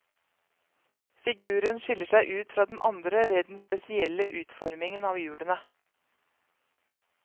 Figuren skiller seg ut fra den andre ved den spesielle utformingen av hjulene.